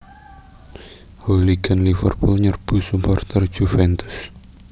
Hooligan Liverpool nyerbu suporter Juventus